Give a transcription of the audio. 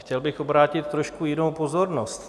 Chtěl bych obrátit trošku jinou pozornost.